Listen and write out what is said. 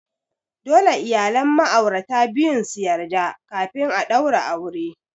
Dole iyalan ma'aurata biyun su yarda kafin a daura aure.